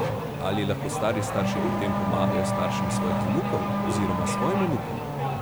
Ali lahko stari starši pri tem pomagajo staršem svojih vnukov oziroma svojim vnukom?